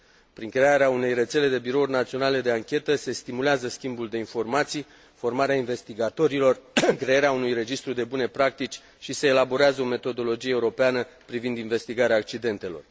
Prin crearea unei rețele de birouri naționale de anchetă se stimulează schimbul de informații, formarea investigatorilor, crearea unui registru de bune practici și se elaborează o metodologie europeană privind investigarea accidentelor.